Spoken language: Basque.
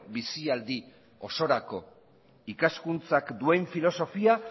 bizi aldi osorako ikaskuntzak duen filosofia